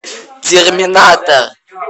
терминатор